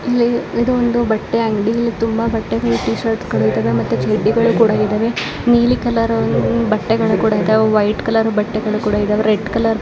ಇಲ್ಲಿ ಇದು ಒಂದು ಬಟ್ಟೆ ಅಂಗಡಿ ಇಲ್ಲಿ ತುಂಬಾ ಬಟ್ಟೆಗಳು ಟಿ ಶಿರ್ಟ್ಸ್ ಗಳು ಇದಾವೆ ಮತ್ತು ಚಡ್ಡಿಗಳು ಕೂಡ ಇದಾವೆ ನೀಲಿ ಕಲರ್ ಬಟ್ಟೆಗಳು ಕೂಡ ಇದ್ದವೇ ವೈಟ್ ಕಲರ್ ಬಟ್ಟೆಗಳು ರೆಡ್ ಕಲರ್